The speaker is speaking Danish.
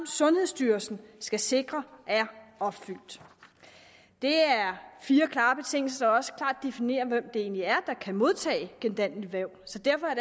sundhedsstyrelsen skal sikre er opfyldt det er fire klare betingelser der også klart definerer hvem det egentlig er der kan modtage gendanneligt væv så derfor